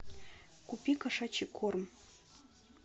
купи кошачий корм